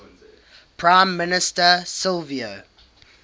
prime minister silvio